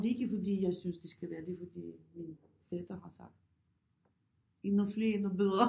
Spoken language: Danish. Og det er ikke fordi jeg synes det skal være det fordi min datter har sagt endnu flere endnu bedre